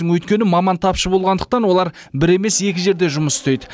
өйткені маман тапшы болғандықтан олар бір емес екі жерде жұмыс істейді